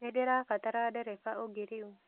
Nĩndĩrabatara ndereba ũngĩ rĩu